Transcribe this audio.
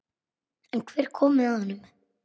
En hver kom með honum?